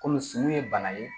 Kɔmi sun ye bana ye